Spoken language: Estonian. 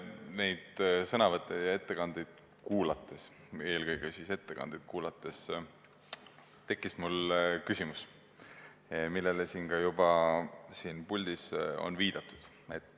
Neid sõnavõtte ja ettekandeid kuulates – eelkõige ettekandeid kuulates – tekkis mul küsimus, millele ka juba siin puldis on viidatud.